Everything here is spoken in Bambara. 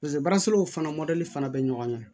Pase baaraw fana fana bɛ ɲɔgɔn ɲɛ